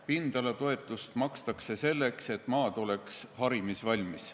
Pindalatoetust makstakse selleks, et maa oleks harimisvalmis.